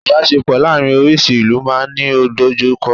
Ibaṣepọ láàrin orísi ìlú ma n Ni idojukọ